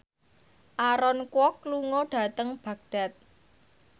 Aaron Kwok lunga dhateng Baghdad